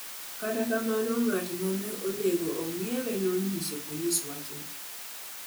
Kata kamano, ng'at ma ne onego ong'iewe ne onyiso polis wachno.